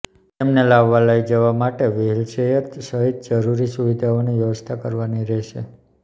તેમને લાવવા લઇ જવા માટે વ્હીલ ચેયર સહિત જરુરી સુવિધાઓની વ્યવસ્થા કરવાની રહેશે